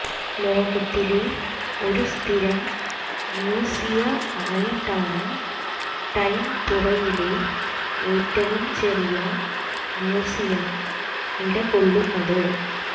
ലോകത്തിലെ ഒരു സ്ഥിരം മ്യൂസിയമായിട്ടാണ് ടെംപുറയിലെ ഏറ്റവും ചെറിയ മ്യൂസിയം നിലകൊള്ളുന്നത്